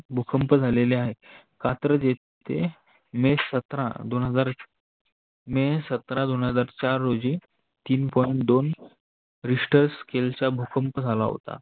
भुकंप झालेले आहे. कात्रज येथे मे सतरा दोन हजार मे सतरा दोन हजार चार रोजी तीन Point दोन रिस्टर Scale भुकंप झाला होता.